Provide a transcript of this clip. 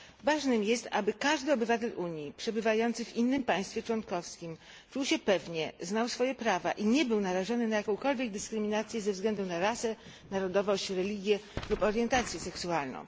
Ważne jest, aby każdy obywatel Unii przebywający w innym państwie członkowskim czuł się pewnie, znał swoje prawa i nie był narażony na jakąkolwiek dyskryminację ze względu na rasę, narodowość, religię lub orientację seksualną.